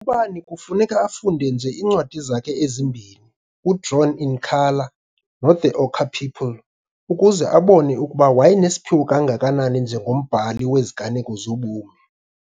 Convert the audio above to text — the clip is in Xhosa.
Ubani kufuneka afunde nje iincwadi zakhe ezimbini, uDrawn in Colour noThe Ochre People, ukuze abone ukuba wayenesiphiwo kangakanani njengombhali weziganeko zobomi.